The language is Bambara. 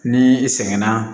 Ni i sɛgɛn na